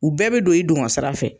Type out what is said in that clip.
U bɛɛ bɛ don i dugɔn sira fɛ.